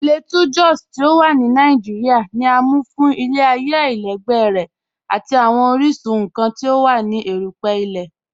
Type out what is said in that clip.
P̀lateau Jòs ti o wà ní Nàìjíríà, ní à mú fún ilẹ̀-ayé aláìlẹ̀gbẹ̀ rẹ̀ àti awọn oríṣun nkàn ti o wà ní èrùpẹ̀ ilẹ̀.